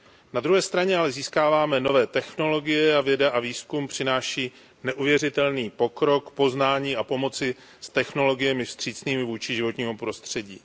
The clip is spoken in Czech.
Na druhé straně ale získáváme nové technologie a věda a výzkum přináší neuvěřitelný pokrok, poznání a pomoc s technologiemi vstřícnými vůči životnímu prostředí.